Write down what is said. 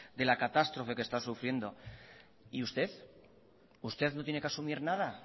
de la catástrofe que está sufriendo y usted usted no tiene que asumir nada